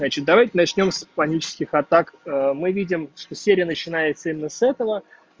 значит давайте начнём с панических атак мы видим что серия начинается именно с этого